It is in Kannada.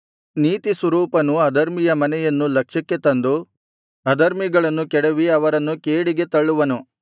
ನೀತಿಸ್ವರೂಪನು ಅಧರ್ಮಿಯ ಮನೆಯನ್ನು ಲಕ್ಷ್ಯಕ್ಕೆ ತಂದು ಅಧರ್ಮಿಗಳನ್ನು ಕೆಡವಿ ಅವರನ್ನು ಕೇಡಿಗೆ ತಳ್ಳುವನು